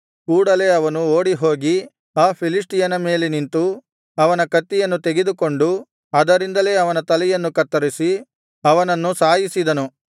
ಕೂಡಲೇ ಅವನು ಓಡಿಹೋಗಿ ಆ ಫಿಲಿಷ್ಟಿಯನ ಮೇಲೆ ನಿಂತು ಅವನ ಕತ್ತಿಯನ್ನು ತೆಗೆದುಕೊಂಡು ಅದರಿಂದಲೇ ಅವನ ತಲೆಯನ್ನು ಕತ್ತರಿಸಿ ಅವನನ್ನು ಸಾಯಿಸಿದನು